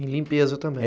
Em limpeza também?